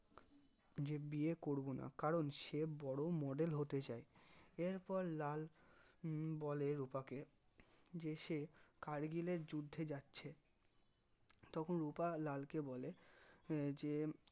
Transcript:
যে বিয়ে করবো না কারণ সে বড়ো model হতে চাই এরপর লাল উম বলে রুপাকে যে সে কার্গিলের যুদ্ধে যাচ্ছে তখন রুপা লালকে বলে যে